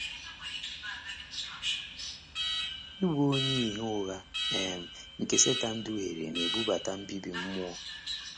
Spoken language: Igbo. Ịbụ onye ìhè ụgha um nke Setan duhiere na-ebute mbibi mmụọ.